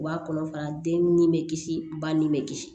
U b'a kɔnɔ fara den ni bɛ kisi ba ni bɛ kisi